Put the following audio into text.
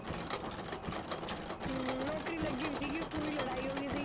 ਹਮ ਨੌਕਰੀ ਲੱਗੀ ਤਾਂ ਸੀਗੀ ਉੱਥੇ ਵੀ ਲੜਾਈ ਹੋ ਗਈ ਸੀਗੀ।